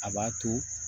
A b'a to